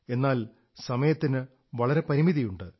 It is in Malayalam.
എന്നാൽ സമയത്തിന് വളരെ പരിമിതിയുണ്ട്